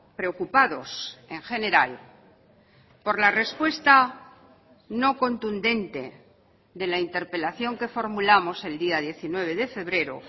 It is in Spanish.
preocupados en general por la respuesta no contundente de la interpelación que formulamos el día diecinueve de febrero